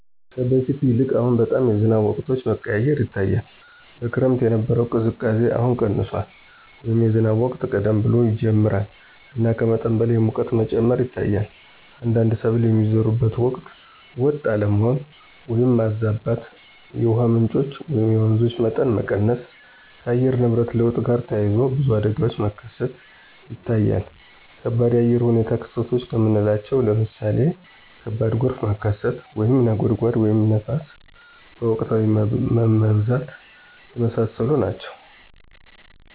ከበፊቱ ይልቅ አሁን በጣም የዝናብ ወቅቶች መቀያየር ይታያል። በክረምት የነበረው ቅዝቃዜ አሁን ቀንሷል” ወይም “የዝናብ ወቅት ቀደም ብሎ ይጀምራል እና ከመጠን በላይ የሙቀት መጨመር ይታያል። አንዳንድ ሰብል የሚዘሩበት ወቅት ወጥ አለመሆን (ማዛባት)።የውሃ ምንጮች (የወንዞች) መጠን መቀነስ። ከአየር ንብረት ለውጥ ጋር ተያይዞ ብዙ አደጋዎች መከሰት ይታያል ከባድ የአየር ሁኔታ ክስተቶች ከምናለቸው ለምሳሌ ከባድ ጎርፍ መከሰት፣ (ነጎድጓድ) ወይም ንፋስ በወቅታዊነት መብዛት። የመሳሰሉት ናቸው።